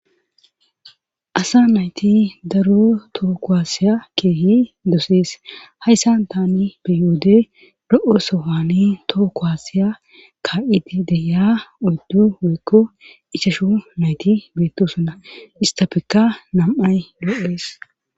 asa nayti daro tooko asiya keehi dosees hayssan tani beyoodey ro7o sohaani too ko wasiya ka7idi deya udddu weekko ichashu nayti beettosona istafekka nam7ay loo7ees